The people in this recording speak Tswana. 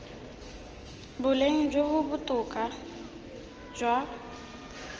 boleng jo bo botoka jwa